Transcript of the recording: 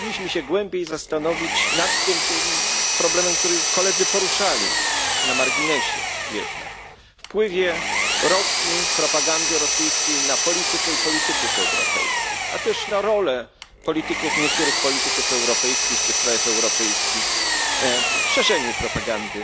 Powinniśmy się głębiej zastanowić nad tym problemem, który koledzy poruszali na marginesie na wpływie Rosji i propagandy rosyjskiej na politykę i polityków europejskich, a też na rolę niektórych polityków europejskich czy w krajach europejskich w szerzeniu propagandy